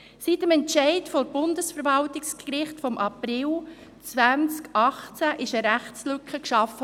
Mit dem Entscheid des Bundesverwaltungsgerichts vom April 2018 wurde eine Rechtslücke geschaffen.